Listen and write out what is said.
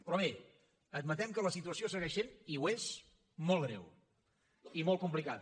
però bé admetem que la situació segueix sent i ho és molt greu i molt complicada